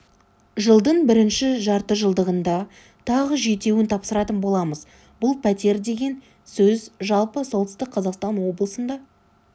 жылдың бірінші жартыжылдығында тағы жетеуін тапсыратын боламыз бұл пәтер деген сөз жалпы солтүстік қазақстан облысында